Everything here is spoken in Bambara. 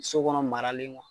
So kɔnɔ maralen